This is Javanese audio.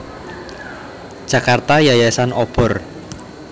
Jakarta Yayasan Obor